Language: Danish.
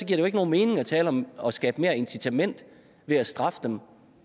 det jo ikke nogen mening at tale om at skabe et større incitament ved at straffe dem